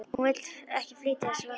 Hún vill ekki flytja þess vegna.